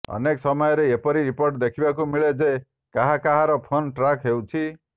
ଅନେକ ସମୟରେ ଏପରି ରିପୋର୍ଟ ଦେଖିବାକୁ ମିଳେ ଯେ କାହା କହାର ଫୋନ୍ ଟ୍ରାକ୍ ହେଉଛି